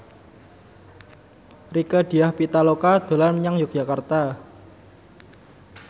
Rieke Diah Pitaloka dolan menyang Yogyakarta